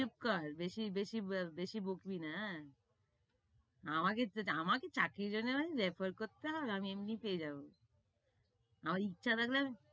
চুপ কর, বেশি বেশি বেশি বকিস না, এ্যা? আমাকে~ আমাকে চাকরির জন্য refer করতে হবে? আমি এমনিই পেয়ে যাবো। আমার ইচ্ছা থাকলে